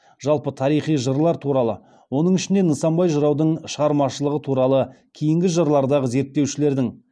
жалпы тарихи жырлар туралы оның ішінде нысанбай жыраудың шығармашылығы туралы кейінгі жылдардағы зерттеушілердің